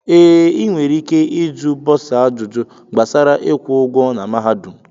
Ee, inwere ike iju bọsa ajụjụ gbasara ịkwụ ụgwọ na mahadum.